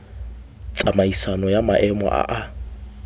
tsamaisano ya maemo a a